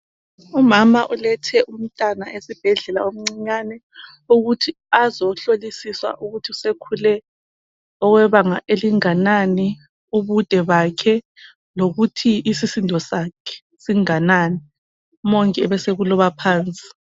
Umama ukethe umntwana ssibhedlela omncinyane ukuthi azohlola ukuthi sekhulile okwebanga elinganani ubude bakhe, isisindo sakhe singanani , umongikazi ebeseloba phansi